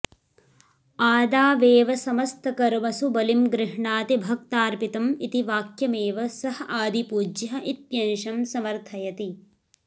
आदावेव समस्तकर्मसु बलिं गृह्णाति भक्तार्पितम् इति वाक्यमेव सः आदिपूज्यः इत्यंशं समर्थयति